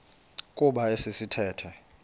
kuba esi sithethe